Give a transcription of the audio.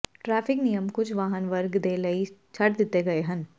traffic ਨਿਯਮ ਕੁਝ ਵਾਹਨ ਵਰਗ ਦੇ ਲਈ ਛੱਡ ਦਿੱਤੇ ਗਏ ਹਨ